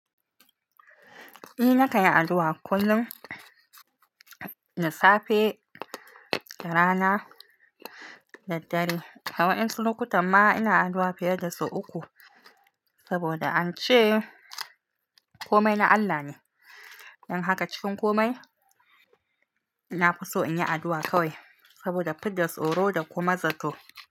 Ni na kayi addu'a kullum, na safe, da rana da dare. Hauwa'in lokatai ma ina addu'a fiye da sau uku, saboda an ce komai na Allah ne. Don haka cikin komai ina fi so in yi addu'a kawai, saboda fidda tsoro da kuma zato.